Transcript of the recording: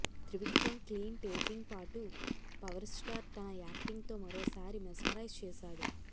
Trivikram clean taking పాటు power star తన acting తో మరోసారి మెస్మరైజ్ చేశాడు